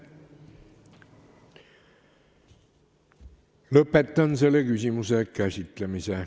Lõpetan selle küsimuse käsitlemise.